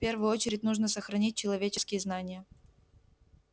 в первую очередь нужно сохранить человеческие знания